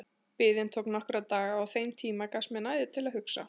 Biðin tók nokkra daga og á þeim tíma gafst mér næði til að hugsa.